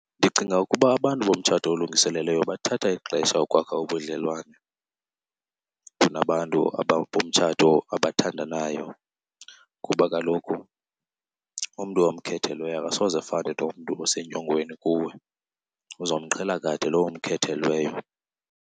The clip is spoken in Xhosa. Ndicinga ukuba abantu bomtshato olungiselelweyo bathatha ixesha ukwakha ubudlelwane kunabantu bomtshato abathandanayo, kuba kaloku umntu omkhethelweyo akasoze afane nomntu osenyongweni kuwe. Uzomqhela kade lo umkhethelweyo.